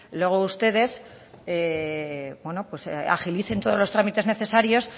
luego ustedes agilicen todos los trámites necesarios